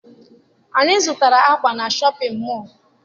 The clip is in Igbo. Anyị zụtara akwa na Shọpịn mọọ.